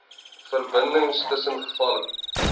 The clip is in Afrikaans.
verbindings tussen gevalle